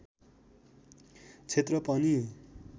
क्षेत्र पनि